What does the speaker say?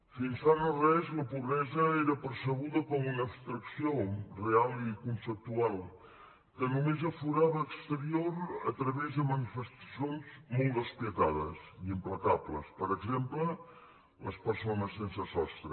fins fa no res la pobresa era percebuda com una abstracció real i conceptual que només aflorava a l’exterior a través de manifestacions molt despietades i implacables per exemple les persones sense sostre